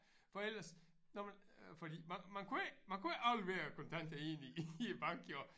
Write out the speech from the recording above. For ellers nåh men fordi man kunne ikke man kunne ikke aflevere kontanter inde i i æ bank jo